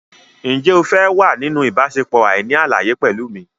Ǹjẹ́ o fẹ́ wà nínú ìbáṣepọ̀ àìní àlàyé pẹ̀lú mi?